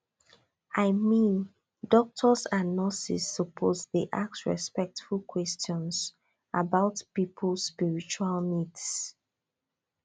i mean doctors and nurses suppose dey ask respectful questions about people spiritual needs